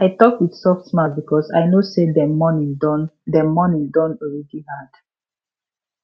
i talk with soft mouth because i know say dem morning don dem morning don already hard